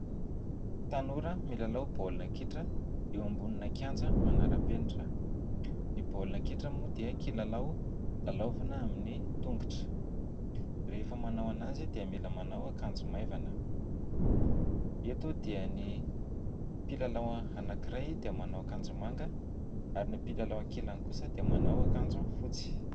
Tanora milalao baolina kitra eo ambonina kianja manara-penitra. Ny baolina kitra moa dia kilalao lalaovina amin'ny tongotra. Rehefa manao azy dia mila manao akanjo maivana ; eto dia ny mpilalao anankiray dia manao akanjo manga ary ny mpilalao ankilany kosa dia manao akanjo fotsy.